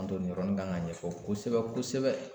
An don yɔrɔnin kan ka ɲɛfɔ kosɛbɛ kosɛbɛ